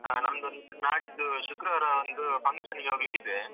ಹಾ ನಮ್ದೊಂದ್ ನಾಡಿದ್ದು ಶುಕ್ರವಾರ ಒಂದು function ಗೆ ಹೋಗ್ಲಿಕ್ಕಿದೆ.